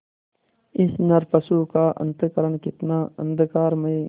इस नरपशु का अंतःकरण कितना अंधकारमय